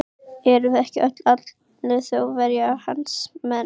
Erum við ekki öll, allir Þjóðverjar, hans menn.